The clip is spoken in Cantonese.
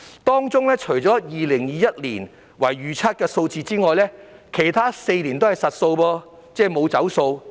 當中除2021年為預測數字外，其他4年均為實數。